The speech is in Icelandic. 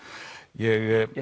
ég